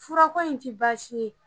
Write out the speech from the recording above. Furakɔ in ti baasi ye